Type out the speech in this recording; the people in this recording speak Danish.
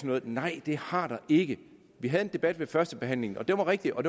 noget nej det har der ikke vi havde en debat ved førstebehandlingen og den var rigtig og